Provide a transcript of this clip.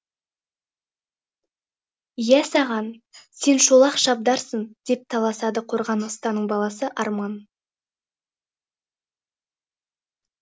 иә саған сен шолақ шабдарсың деп таласады қорған ұстаның баласы арман